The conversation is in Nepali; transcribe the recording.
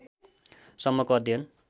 सम्मको अध्ययन